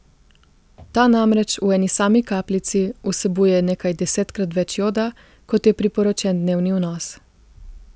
Ta namreč v eni sami kapljici vsebuje nekaj desetkrat več joda, kot je priporočen dnevni vnos.